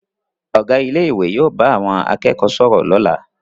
Ọ̀gá ilé ìwé yóò bá àwọn akẹ́kọ̀ọ́ sọ̀rọ̀ lọ́la